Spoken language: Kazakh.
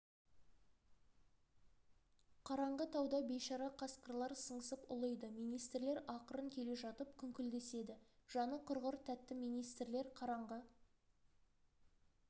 қараңғы тауда бейшара қасқырлар сыңсып ұлиды министрлер ақырын келе жатып күңкілдеседі жаны құрғыр тәтті министрлер қараңғы